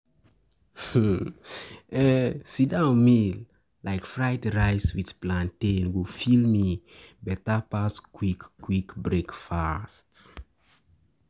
Sit-down meal like fried rice with plantain go fill me better pass quick breakfast.